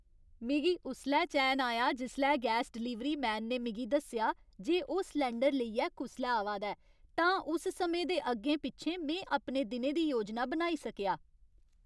मिगी उसलै चैन आया जिसलै गैस डलीवरी मैन ने मिगी दस्सेआ जे ओह् सलैंडर लेइयै कुसलै आवा दा ऐ, तां उस समें दे अग्गें पिच्छें में अपने दिनै दी योजना बनाई सकेआ।